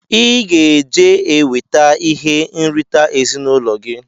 Iga eje ka ewete ihe nrita ezinụlọ gi!!